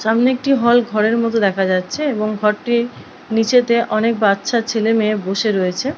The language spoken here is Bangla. সামনে একটি হল ঘরের মতো দেখা যাচ্ছে এবং ঘরটি নীচেতে অনেক বাচ্চা ছেলেমেয়ে বসে রয়েছে।